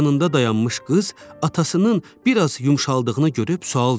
Yanında dayanmış qız atasının bir az yumşaldığını görüb sual verdi.